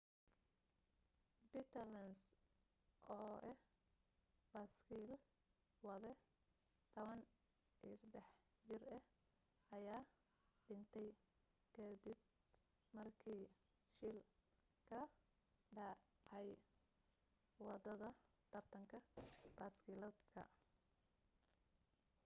peter lenz oo ah baaskiil wade 13 jir ah ayaa dhintay kadib markii shil ka dhacay wadada tartan baskiiladeedka